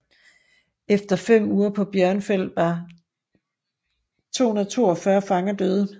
Efter fem uger på Bjørnfjell var 242 fanger døde